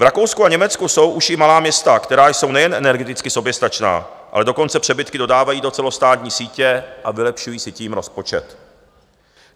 V Rakousku a Německu jsou už i malá města, která jsou nejen energeticky soběstačná, ale dokonce přebytky dodávají do celostátní sítě a vylepšují si tím rozpočet.